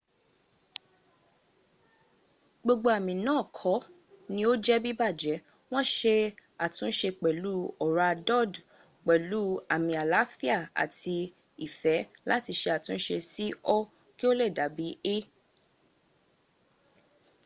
gbogbo ami naa ko ni oje bibaje won se atunde pelu ora dud pelu ami alaafia ati ife lati se atunse si o ki o le dabi e